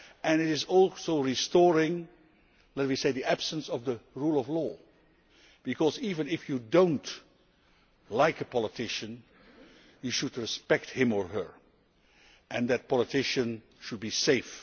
It is also about restoring an absence of the rule of law because, even if you do not like a politician, you should respect him or her and that politician should be safe.